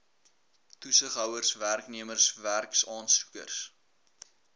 toesighouers werknemers werksaansoekers